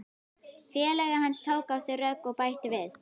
Félagi hans tók á sig rögg og bætti við